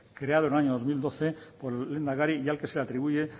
creado en el año dos mil doce por el lehendakari y el que se le atribuye